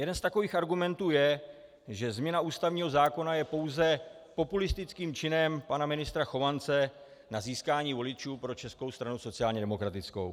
Jeden z takových argumentů je, že změna ústavního zákona je pouze populistickým činem pana ministra Chovance na získání voličů pro Českou stranu sociálně demokratickou.